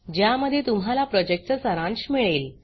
ज्यामध्ये तुम्हाला प्रॉजेक्टचा सारांश मिळेल